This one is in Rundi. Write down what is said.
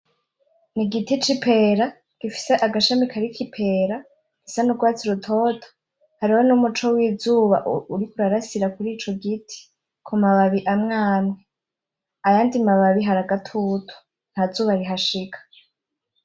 Igiti c'ipera gifise agashami kariko ipera isa n'urwatsi rutoto hariho n'umuco w'izuba uriko urarasira kurico giti kumababi amwe amwe, ayandi mababi hari agatutu nta zuba rihashika.